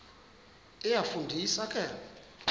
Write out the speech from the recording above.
iyafu ndisa ke